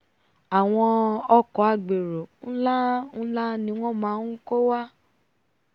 àwọn ọkọ̀ agbérò nlá nlá ni wọ́n máa nkó wá